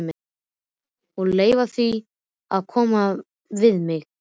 Og leyfa því að koma við mig.